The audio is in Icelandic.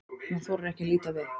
Hún þorir ekki að líta við.